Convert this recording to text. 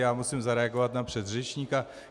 Já musím zareagovat na předřečníka.